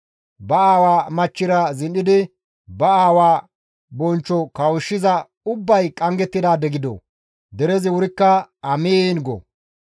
«Ba aawa machchira zin7idi ba aawa bonchcho kawushshiza ubbay qanggettidaade gido!» Derezi wurikka, «Amiin!» go.